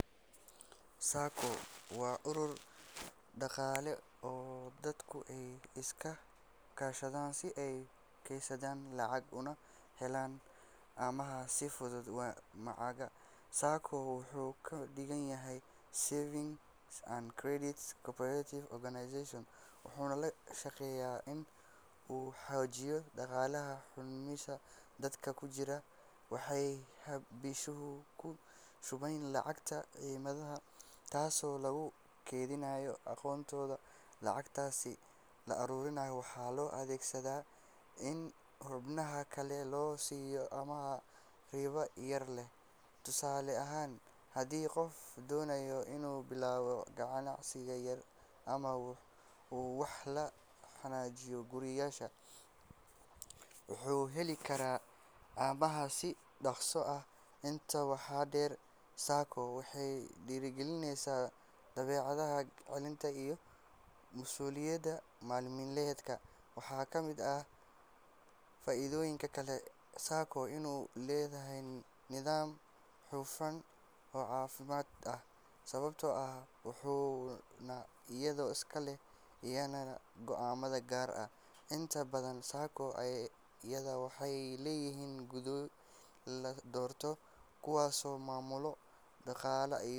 SACCO waa urur dhaqaale oo dadku ay iska kaashadaan si ay u keydsadaan lacag una helaan amaah si fudud. Magaca SACCO wuxuu ka dhigan yahay Savings and Credit Cooperative Organization, wuxuuna ka shaqeeyaa in uu xoojiyo dhaqaalaha xubnihiisa. Dadka ku jira SACCO waxay bishiiba ku shubaan lacag cayiman, taasoo lagu kaydiyo akoonkooda. Lacagtaas la ururiyo waxaa loo adeegsadaa in xubnaha kale loo siiyo amaah ribo yar leh. Tusaale ahaan, haddii qof doonayo inuu bilaabo ganacsi yar ama uu wax ka hagaajiyo gurigiisa, wuxuu heli karaa amaah si dhaqso ah. Intaa waxaa dheer, SACCO waxay dhiirrigelisaa dabeecadda kaydinta iyo masuuliyadda maaliyadeed. Waxaa ka mid ah faa’iidooyinka kale ee SACCO inuu leeyahay nidaam hufan oo cadaalad ah, sababtoo ah xubnuhu iyagaa iska leh, iyagaana go’aamada gaara. Inta badan SACCO-yada waxay leeyihiin guddiyo la doorto, kuwaasoo maamula dhaqaalaha.